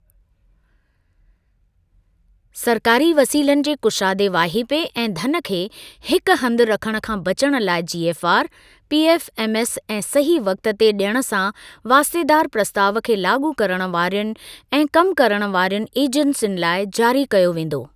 सरकारी वसीलनि जे कुशादे वाहिपे ऐं धन खे हिक हंधि रखण खां बचण लाइ जीएफआर, पीएफएमएस ऐं सही वक्त ते डियण सां वास्तेदार प्रस्ताव खे लाॻू करण वारियुनि ऐं कम करण वारियुनि एजेंसियुनि लाइ जारी कयो वेंदो।